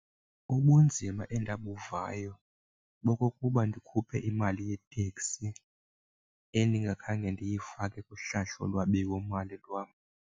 Ubunzima endabuvayo bobokuba ndikhuphe imali yeteksi endingakhange ndiyifake kuhlahlolwabiwo mali lwam.